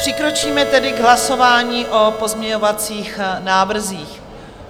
Přikročíme tedy k hlasování o pozměňovacích návrzích.